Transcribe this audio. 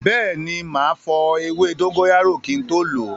Bẹẹni, ma fọ ewé dóngóyárò kin tó lo